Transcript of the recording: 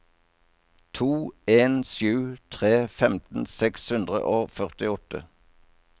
to en sju tre femten seks hundre og førtiåtte